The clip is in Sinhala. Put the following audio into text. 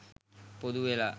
පොදු වෙලා